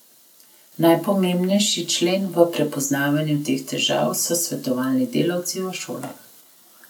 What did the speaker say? Najpomembnejši člen v prepoznavanju teh težav so svetovalni delavci v šolah.